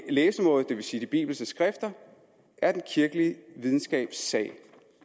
læsemåde det vil sige af de bibelske skrifter er den kirkelige videnskabs sag